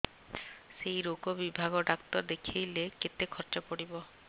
ସେଇ ରୋଗ ବିଭାଗ ଡ଼ାକ୍ତର ଦେଖେଇଲେ କେତେ ଖର୍ଚ୍ଚ ପଡିବ